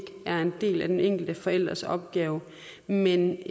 er en del af den enkelte forælders opgave men